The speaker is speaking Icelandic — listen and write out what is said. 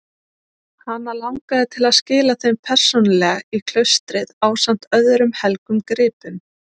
Hana langaði til að skila þeim persónulega í klaustrið ásamt öðrum helgum gripum.